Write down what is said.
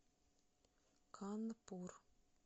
канпур